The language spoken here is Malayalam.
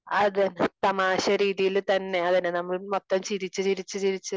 അഹ് അതന്നെ തമാശ രീതിൽ തന്നെ അതന്നെ നമ്മൾ മൊത്തം ചിരിച്ച് ചിരിച്ച് ചിരിച്ച്